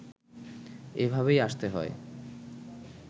এভাবেই আসতে হয়